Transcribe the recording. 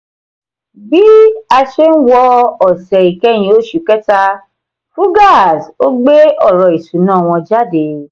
bí a ṣe ń wọ ọ̀sẹ̀ ìkẹyìn oṣù kẹta fugaz ò gbé ọ̀rọ̀ ìṣúná wọn jáde.